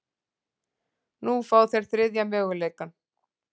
Nú fá þeir þriðja möguleikann